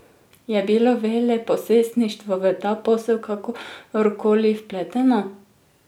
Je bilo veleposlaništvo v ta posel kakor koli vpleteno?